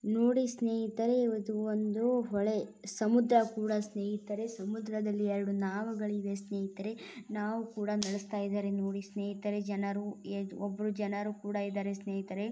ನೋಡಿ ಸ್ನೇಹಿತರೆ ಇದು ಒಂದು ಹೊಳೆ ಸಮುದ್ರ ಕೂಡ ಸ್ನೇಹಿತರೆ ಸಮುದ್ರದಲ್ಲಿಎರಡು ನಾವುಗಳು ಇವೆ ಸ್ನೇಹಿತರೆ. ನಾವು ಕೂಡ ನಡೆಸತ್ತಾ ಇದ್ದಾರೆ ಸ್ನೇಹಿತರೆ ನೋಡಿ ಸ್ನೇಹಿತರೆ ಜನರು ಒಬ್ಬರು ಜನರು ಕೂಡ ಇದ್ದಾರೆ ಸ್ನೇಹಿತರೆ.